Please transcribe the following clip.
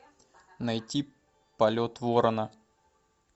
найти полет ворона